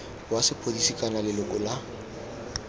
wa sepodisi kana leloko la